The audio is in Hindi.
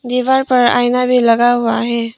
दीवार पर आईना भी लगा हुआ है।